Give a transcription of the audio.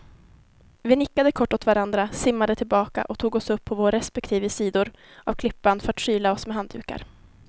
Vi nickade kort åt varandra, simmade tillbaka och tog oss upp på våra respektive sidor av klippan för att skyla oss med handdukar.